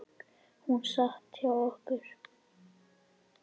Hún sat hjá okkur